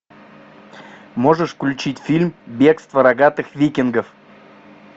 можешь включить фильм бегство рогатых викингов